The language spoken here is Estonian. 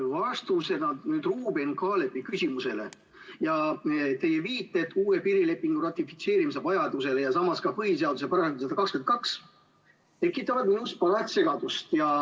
Vastused Ruuben Kaalepi küsimusele, teie viited uue piirilepingu ratifitseerimise vajadusele ja samas ka põhiseaduse §-le 122 tekitavad minus parajat segadust.